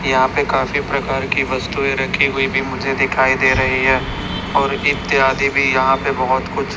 यहां पे काफी प्रकार की वस्तुएं रखी हुई भी मुझे दिखाई दे रहीं हैं और इत्यादि भी यहा पे बहोत कुछ--